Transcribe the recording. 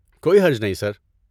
کوئی حرج نہیں، سر۔